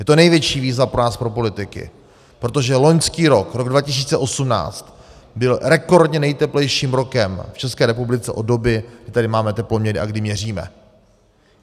Je to největší výzva pro nás, pro politiky, protože loňský rok, rok 2018 byl rekordně nejteplejším rokem v ČR od doby, kdy tady máme teploměry a kdy měříme.